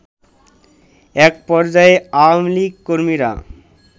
এক পর্যায়ে আওয়ামী লীগ কর্মীরা